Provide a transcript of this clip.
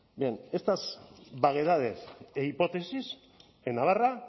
bien estas vaguedades e hipótesis en navarra